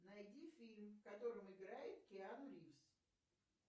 найди фильм в котором играет киану ривз